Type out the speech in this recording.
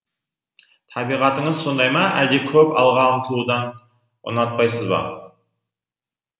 табиғатыңыз сондай ма әлде көп алға ұмтылуды ұнатпайсыз ба